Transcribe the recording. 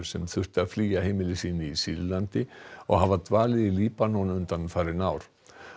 sem þurftu að flýja heimili sín í Sýrlandi og hafa dvalið í Líbanon undanfarin ár